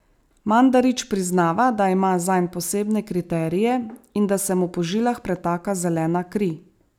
Mandarić priznava, da ima zanj posebne kriterije in da se mu po žilah pretaka zelena kri.